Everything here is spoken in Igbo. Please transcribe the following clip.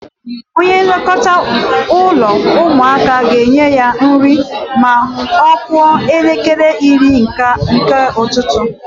Onye nlekọta ụlọ ụmụaka ga-enye ha nri ma ọ kụọ elekere iri nke ụtụtụ.